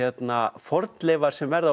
fornleifar sem verða á